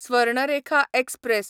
Swarnarekha express